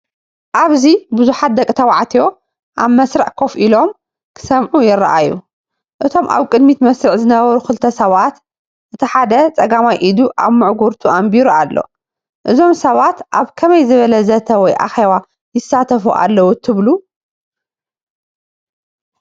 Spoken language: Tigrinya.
ኣብዚ ቡዝሓት ደቂ ተባዕትዮ ኣብ መስርዕ ኮፍ ኢሎም፡ ክሰምዑ ይረኣዩ። እቶም ኣብ ቅድሚት መስርዕ ዝነበሩ ክልተ ሰባት፡ እቲ ሓደ ጸጋማይ ኢዱ ኣብ ምዕጉርቱ ኣንቢሩ ኣሎ። እዞም ሰባት ኣብ ከመይ ዝበለ ዘተ ወይ ኣኼባ ይሳተፉ ኣለዉ ትብሉ?